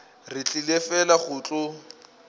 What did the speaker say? re tlile fela go tlo